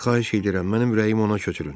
Xahiş edirəm, mənim ürəyim ona köçürün.